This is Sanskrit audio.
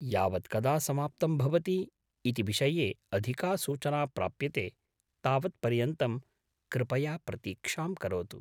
यावत् कदा समाप्तं भवति इति विषये अधिका सूचना प्राप्यते तावत् पर्यन्तं कृपया प्रतीक्षां करोतु।